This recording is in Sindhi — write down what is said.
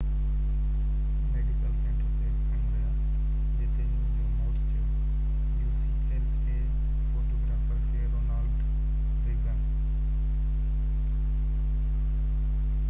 فوٽوگرافر کي Ronald Reagan ucla medical centre تي کڻي ويا جتي هن جو موت ٿيو